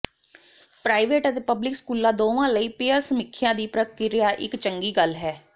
private ਅਤੇ public ਸਕੂਲਾਂ ਦੋਵਾਂ ਲਈ ਪੀਅਰ ਸਮੀਖਿਆ ਦੀ ਪ੍ਰਕਿਰਿਆ ਇਕ ਚੰਗੀ ਗੱਲ ਹੈ